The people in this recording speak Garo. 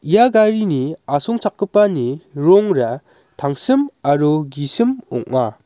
ia garini asongchakgipani rongra tangsim aro gisim ong·a.